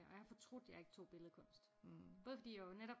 Og jeg har fortrudt jeg ikke tog billedkunst både fordi jeg jo netop